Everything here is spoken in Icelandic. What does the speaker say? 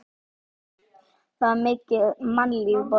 Það var mikið mannlíf í borginni.